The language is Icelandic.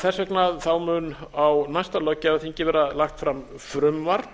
þess vegna mun á næsta löggjafarþingi verða lagt fram frumvarp